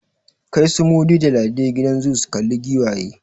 Kai su Mudi da Ladi gidan zoo su kalla giwaye!